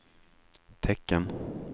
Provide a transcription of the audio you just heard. tecken